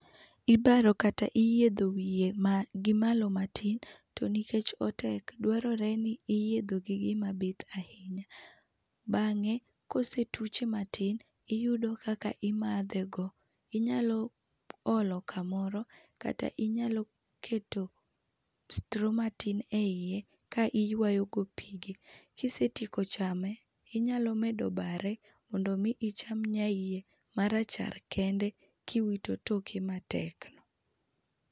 Ibaro kata iyietho wiye ma gimalo matin to nikech otek dwarore ni i yiethe gi gima bith ahinya ,bange ka osetuche matin uyudo kaka imatho inyalo olo kamoro kata inyalo keto stro matin e hiye ka iywayo go pige kisetieko be chame inyalo bende bare mondo omi cham nyaiye marachar kende ka iwito toke matekno.